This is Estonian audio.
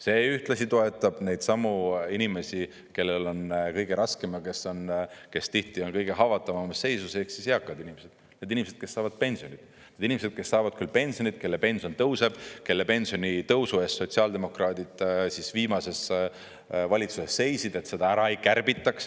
See ühtlasi toetab neidsamu inimesi, kellel on kõige raskem ja kes tihti on kõige haavatavamas seisus ehk eakad, need inimesed, kes saavad pensionit, need inimesed, kes saavad küll pensionit, kelle pension tõuseb, kelle pensionitõusu eest sotsiaaldemokraadid viimases valitsuses seisid, et seda ära ei kärbitaks.